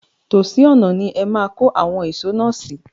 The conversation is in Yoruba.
Tòsí ọ̀nà ni ẹ máa kọ́ awon ìsò náà sí.